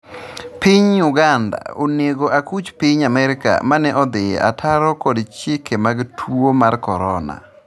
piny Uganda onego akuch Piny Amerka mane odhi ataro kod chike mag tuo mar korona